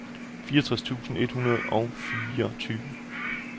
fireogtres tusind tre hundrede og fireogtyve